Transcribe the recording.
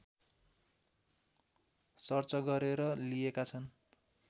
search गरेर लिइएका छन्